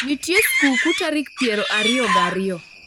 Nitie skukutarik piero ariyo ga ariyo